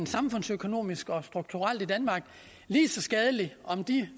samfundsøkonomisk og strukturelt lige så skadelig om de